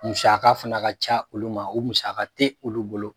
musaka fana ka ca olu ma, o musa te olu bolo.